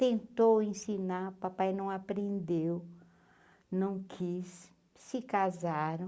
Tentou ensinar, o papai não aprendeu, não quis, se casaram.